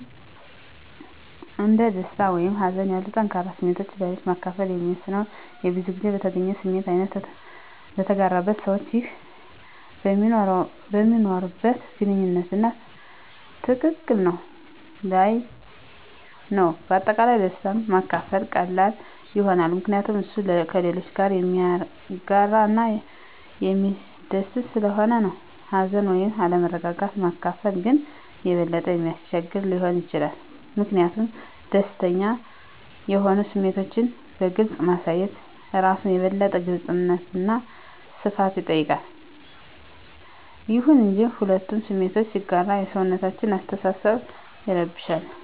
አንድ ደስታ ወይም ሀዘን ያሉ ጠንከር ስሜቶችን ለሌሎች ማከፈል የሚወሰነው የብዙዉን ጊዜ በተገኘው ስሜት አይነት፣ በተጋራበት ሰዋች ይህ በሚኖርዋት ግንኙነት አና ትክክል ነት ለይ ነዉ። በአጠቃላይ ደስታን ማካፈል ቀላል ይሆናል ምከንያቱም እሱ ከሌሎች ጋረ የሚያጋረ እና የሚስደስት ሰለሆነ ነው። ሀዘንን ወይም አለመረጋጋት ማካፈል ግን የበለጠ የሚያስቸግር ሊሆን ይችላል ሚኪንያቱም ደስተኛ የሆኑ ስሜቶችን በግልፅ ማሳየት እራሱን የበለጠ የግልጽነት አና ሰፋት ይጠይቃል። ይሁን እንጂ፣ ሁለቱ ስሜቶችን ሲጋራ የሰውነታችን አሰተሳሰብ ይረብሻል